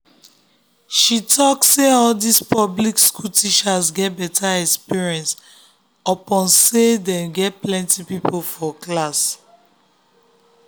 she talk say all this public school teachers get better experience upon say them get plenty people for class